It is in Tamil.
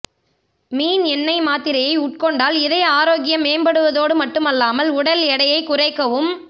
மீன் எண்ணெய் மாத்திரையை உட்கொண்டால் இதய ஆரோக்கியம் மேம்படுவதோடு மட்டுமல்லாமல் உடல் எடையை குறைக்கவும்